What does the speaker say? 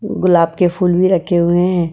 गुलाब के फूल भी रखे हुए हैं।